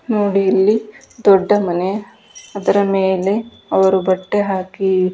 ನೋಡಿ ಇಲ್ಲಿ ದೊಡ್ಡ ಮನೆ ಅದರ ಮೇಲೆ ಅವರು ಬಟ್ಟೆ ಹಾಕಿ.